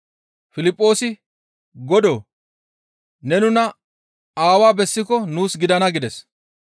Piliphoosi, «Godoo! Ne nuna Aawaa bessiko nuus gidana» gides.